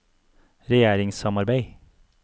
regjeringssamarbeid